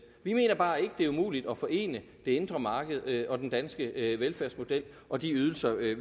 vi mener bare ikke det er umuligt at forene det indre marked med den danske velfærdsmodel og de ydelser vi